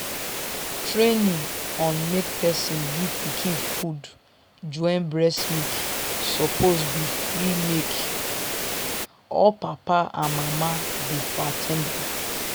training on make person give pikin food join breast milk suppose be free make all papa and mama dey for at ten d am.